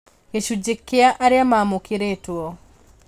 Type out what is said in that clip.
Gĩcunjĩ kĩa arĩa maamũkĩrĩtũo